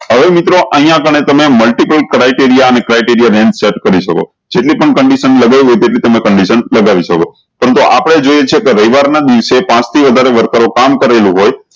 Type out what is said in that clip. હવે મિત્રો અયીયા આગળે તમે criteria કરી શકો જેટલી પણ multipal criteria લગાય તેટલી તમે select લગાવી શકો પરંતુ આપળે જોયીએ છે કે રવિવાર ના દિવસે પાંચ થી વધારે worker કામ કરેલું હોય